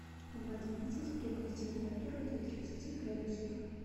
в одиннадцать прибавь температуру до тридцати градусов